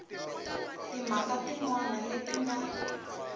timhaka tin wana leti nga